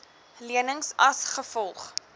lenings as gevolg